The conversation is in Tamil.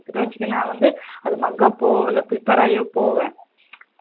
நா வந்து அது mug up இல்லை prepare ஆகி போவேன்